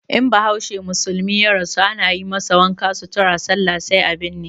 In bahaushe musulmi ya rasu ana yi masa wanka, sutura, sallah sai a binne.